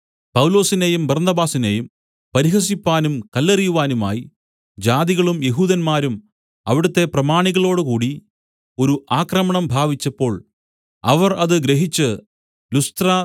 പൗലോസിനെയും ബർന്നബാസിനെയും പരിഹസിപ്പാനും കല്ലെറിയുവാനുമായി ജാതികളും യെഹൂദന്മാരും അവിടുത്തെ പ്രമാണികളോടുകൂടി ഒരു ആക്രമണം ഭാവിച്ചപ്പോൾ അവർ അത് ഗ്രഹിച്ച് ലുസ്ത്ര